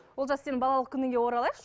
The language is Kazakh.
олжас сенің балалық күніңе оралайықшы